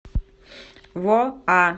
воа